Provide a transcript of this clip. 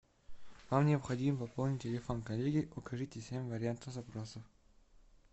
вам необходимо пополнить телефон коллеги укажите семь вариантов запросов